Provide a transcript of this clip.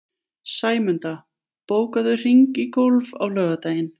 Sæmunda, bókaðu hring í golf á laugardaginn.